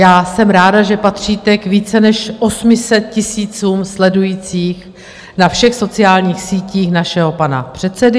Já jsem ráda, že patříte k více než 800 tisícům sledujících na všech sociálních sítích našeho pana předsedu.